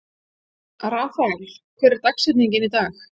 Rafael, hver er dagsetningin í dag?